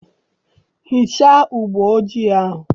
Hichaa ụgbọ ojii ahụ!